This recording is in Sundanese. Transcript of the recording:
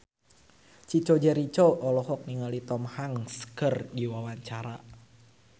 Chico Jericho olohok ningali Tom Hanks keur diwawancara